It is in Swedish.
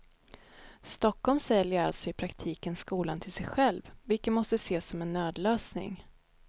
Stockholm säljer alltså i praktiken skolan till sig själv vilket måste ses som en nödlösning.